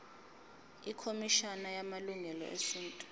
ikhomishana yamalungelo esintu